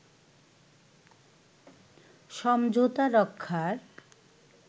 সমঝোতা রক্ষার